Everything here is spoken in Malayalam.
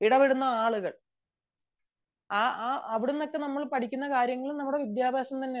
നമ്മൾ ഇടപെടുന്ന ആളുകൾ അവിടുന്നൊക്കെ നമ്മൾ പഠിക്കുന്ന കാര്യങ്ങൾ വിദ്യാഭ്യാസം തന്നെയാണ്